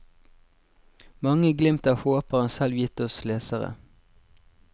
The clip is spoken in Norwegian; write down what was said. Mange glimt av håp har han selv gitt oss lesere.